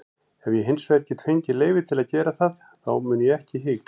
Ef ég hinsvegar get fengið leyfi til að gera það þá mun ég ekki hika.